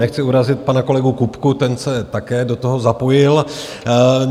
Nechci urazit pana kolegu Kupku, ten se také do toho zapojil.